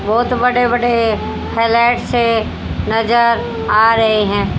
बहोत बड़े बड़े फ्लैट से नजर आ रहे हैं।